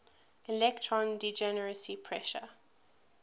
electron degeneracy pressure